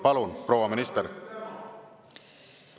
Palun, proua minister!